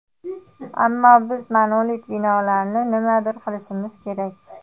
Ammo biz monolit binolarni nimadir qilishimiz kerak.